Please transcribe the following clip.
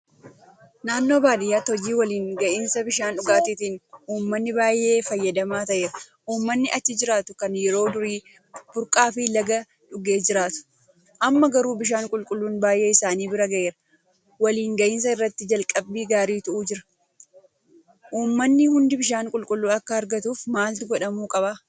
Naannoo baadiyyaatti hojii waliin gahinsa bishaan dhugaatiitiin uummanni baay'een fayyadamaa ta'eera. Uummanni achi jiraatu kan yeroo durii burqaafi laga dhugee jiraatu; Amma garuu bishaan qulqulluun baay'ee isaanii bira gaheera. Waliin gahinsa irratti jalqabbii gaariitu jira. Uummanni hundi Bishaan qulqulluu akka argatuuf maaltu godhamuu qaba?